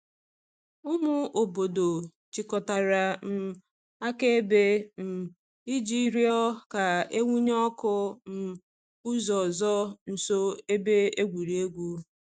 Ụmụ obodo chịkọtara um akaebe um iji rịọ ka e wụnye ọkụ um ụzọ ọzọ nso ebe egwuregwu.